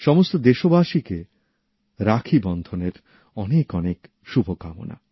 সমস্ত দেশবাসীকে রাখীবন্ধনের অনেক অনেক শুভকামনা